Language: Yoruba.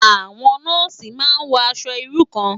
Awòn nòsí má n wò aṣò irú kán